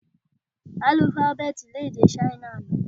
Álúfábẹ́tì ni èdè Ṣáínà ní?